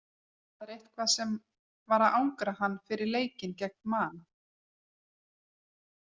Það var eitthvað sem var að angra hann fyrir leikinn gegn Man.